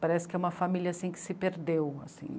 Parece que é uma família assim que se perdeu assim.